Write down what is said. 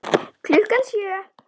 Klukkan sjö.